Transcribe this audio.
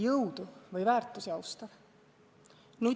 Jõudu või väärtusi austav?